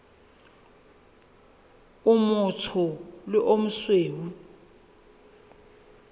o motsho le o mosweu